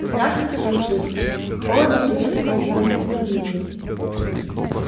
здравствуйте люциус холодно приветствовал его мистер уизли